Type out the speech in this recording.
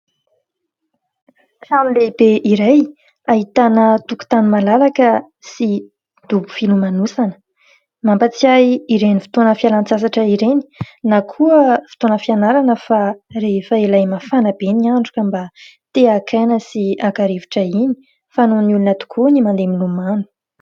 Trano lehibe iray ahitana tokotany malalaka sy dobo filomanosana. Mampahatsiahy ireny fotoana fialan-tsasatra ireny, na koa fotoana fianarana fa rehefa ilay mafana be ny andro ka mba te haka aina sy haka rivotra iny, fanaon'ny olona tokoa ny mandeha milomano.